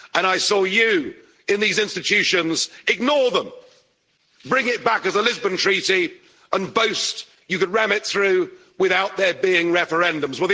And I saw you, in these institutions, ignore them, bring it back as the Lisbon Treaty and boast you could ram it through without there being referendums.